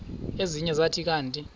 ezinye zathi kanti